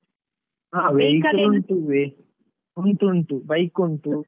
Vehicle ಉಂಟು ಉಂಟು bike ಉಂಟು.